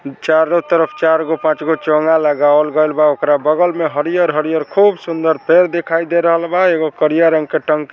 चारों तरफ चार गो पांच गो चोंगा लगावल गैल बा ओकरा बगल में हरिहर-हरिहर खूब सुंदर पेड़ दिखाई दे रहल बा एगो करिया रंग के टंक --